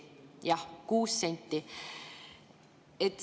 Jah, 6 senti.